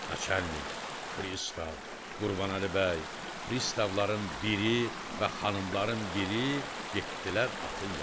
Naçalnik, Pristav, Qurbanəli bəy, pristavların biri və xanımların biri getdilər atın yanına.